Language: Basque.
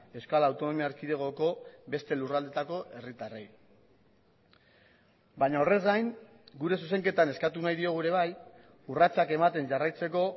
euskal autonomia erkidegoko beste lurraldeetako herritarrei baina horrez gain gure zuzenketan eskatu nahi diogu ere bai urratsak ematen jarraitzeko